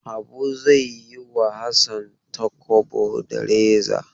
Habu zai yi wa Hassan talkwabo da reza.